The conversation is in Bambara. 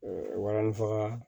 walanni faga